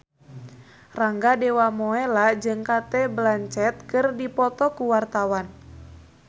Rangga Dewamoela jeung Cate Blanchett keur dipoto ku wartawan